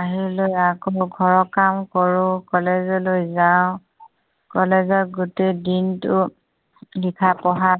আহি লৈ আকৌ ঘৰৰ কাম কৰো। college লৈ যাও। college ত গোটেই দিনটো লিখা-পঢ়া